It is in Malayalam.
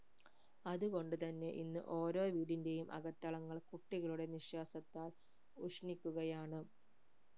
അത് കൊണ്ട് തന്നെ ഇന്ന് ഓരോ വീടിന്റെയും അകത്തളങ്ങൾ കുട്ടികളുടെ നിശ്വാസത്താൽ ഉഷ്‌ണിക്കുകയാണ്